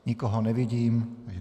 Nikoho nevidím.